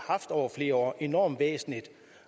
haft over flere år enormt væsentligt